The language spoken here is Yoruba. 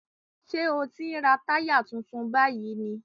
Ṣé ò ń ra táyà tuntun báyìí ni?